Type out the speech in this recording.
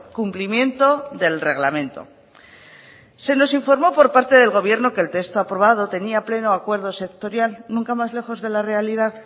cumplimiento del reglamento se nos informó por parte del gobierno que el texto aprobado tenía pleno acuerdo sectorial nunca más lejos de la realidad